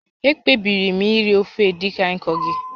Ekpebiri m iri ofe Edikaikong gị